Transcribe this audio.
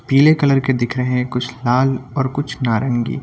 पीले कलर के दिख रहे हैं कुछ लाल और कुछ नारंगी --